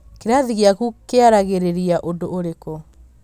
kĩrathi gĩaku kĩaragĩrĩria ũndũ ũrĩkũ